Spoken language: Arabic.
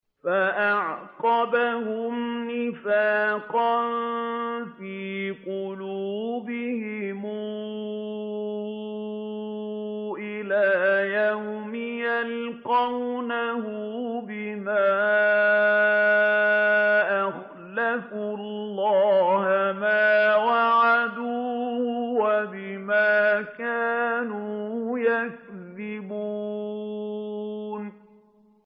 فَأَعْقَبَهُمْ نِفَاقًا فِي قُلُوبِهِمْ إِلَىٰ يَوْمِ يَلْقَوْنَهُ بِمَا أَخْلَفُوا اللَّهَ مَا وَعَدُوهُ وَبِمَا كَانُوا يَكْذِبُونَ